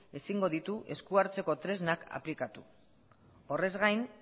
ezingo ditu esku hartzeko tresnak aplikatu horrez gain